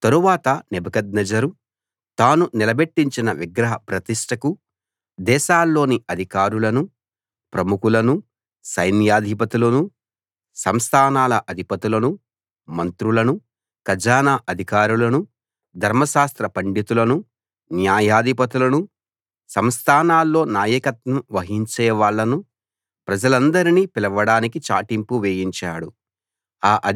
తరువాత నెబుకద్నెజరు తాను నిలబెట్టించిన విగ్రహ ప్రతిష్ఠకు దేశాల్లోని అధికారులను ప్రముఖులను సైన్యాధిపతులను సంస్థానాల అధిపతులను మంత్రులను ఖజానా అధికారులను ధర్మశాస్త్ర పండితులను న్యాయాధిపతులను సంస్థానాల్లో నాయకత్వం వహించేవాళ్ళను ప్రజలందరినీ పిలవడానికి చాటింపు వేయించాడు